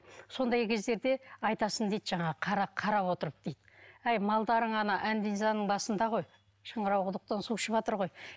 сондай кездерде айтасың дейді жаңағы қарап отырып дейді әй малдарың ана басында ғой шыңырау құдықтан су ішіватыр ғой